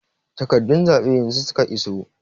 Takarɗun zaɓen yanzu suka iso.